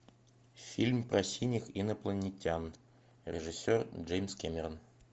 фильм про синих инопланетян режиссер джеймс кэмерон